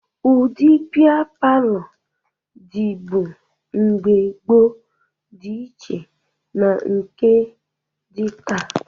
Ụdị bịa palọ dịbu mgbe gboo dị iche na ndị nke dị taa